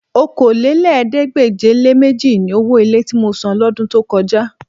Okòólélẹ́ẹ̀ẹ́dégbèje-le-méjì ni owó ilé tí mo san lọ́dún tó kọjá